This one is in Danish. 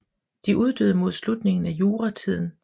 De uddøde mod slutningen af juratiden